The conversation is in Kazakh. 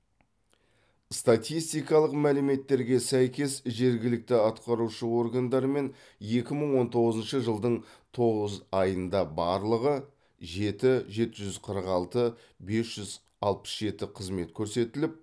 статистикалық мәліметтерге сәйкес жергілікті атқарушы органдармен екі мың он тоғызыншы жылдың тоғыз айында барлығы жеті жеті жүз қырық алты бес жүз алпыс жеті қызмет көрсетіліп